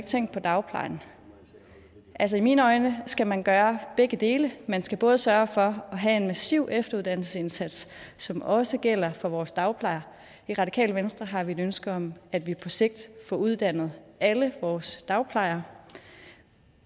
tænkt på dagplejen altså i mine øjne skal man gøre begge dele man skal både sørge for at have en massiv efteruddannelsesindsats som også gælder for vores dagplejer i radikale venstre har vi et ønske om at vi på sigt får uddannet alle vores dagplejer